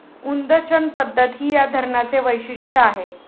उदंचन पद्धत ही या धरणाचे वैशिष्ट्य आहे.